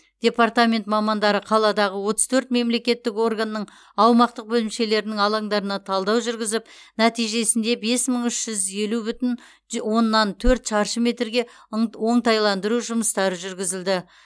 департамент мамандары қаладағы отыз төрт мемлекеттік органның аумақтық бөлімшелерінің алаңдарына талдау жүргізіп нәтижесінде бес мың үш жүз елу бүтін ж оннан төрт шаршы метрге ың оңтайландыру жұмыстары жүргізілді